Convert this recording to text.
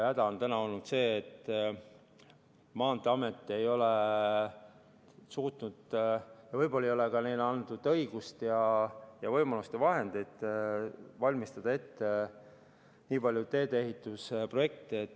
Häda on olnud see, et Maanteeamet ei ole suutnud – võib-olla ei ole neile antud ka õigust, võimalust ja vahendeid – valmistada ette nii palju tee-ehitusprojekte.